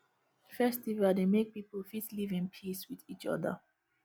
festival dey make pipo fit live in peace with each oda